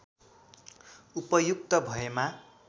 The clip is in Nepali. उपयुक्त भएमा